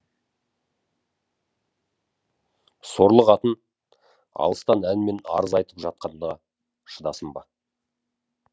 сорлы қатын алыстан әнмен арыз айтып жатқанға шыдасын ба